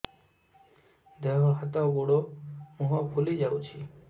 ଦେହ ହାତ ଗୋଡୋ ମୁହଁ ଫୁଲି ଯାଉଛି